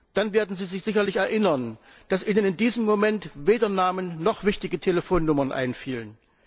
Dann werden Sie sich sicherlich erinnern, dass Ihnen in diesem Moment weder Namen noch wichtige Telefonnummern einfielen.